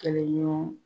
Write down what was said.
Kɛlɛɲɔgɔn